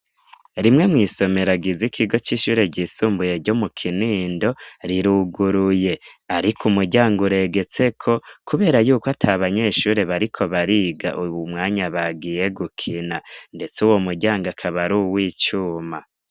Rimwe mw'isomeragiza ikigo c'ishuri ryisumbuye ryo mu kinindo riruguruye, ariko umuryango uregetseko, kubera yuko ata banyeshuri bariko bariga uwu mwanya bagiye gukina, ndetse wo muryanga akabari uwo icuma.